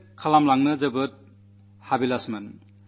എന്തെങ്കിലും ചെയ്യണമെന്ന് വലിയ ആഗ്രഹമായിരുന്നു